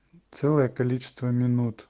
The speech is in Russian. целое количество минут